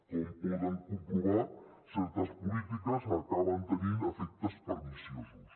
com poden comprovar certes polítiques acaben tenint efectes perniciosos